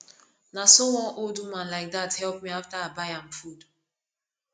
na so one old woman like dat help me after i buy am food